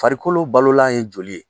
Farikolo balolan ye joli ye.